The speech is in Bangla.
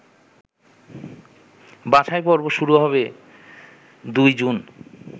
বাছাইপর্ব শুরু হবে ২ জুন